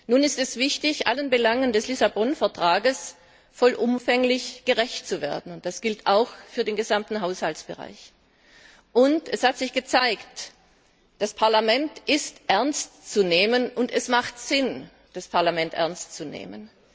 Nun ist es wichtig, allen Belangen des Lissabon Vertrags voll umfänglich gerecht zu werden. Das gilt auch für den gesamten Haushaltsbereich. Und es hat sich gezeigt Das Parlament ist ernst zu nehmen, und es hat Sinn, das Parlament ernst zu nehmen.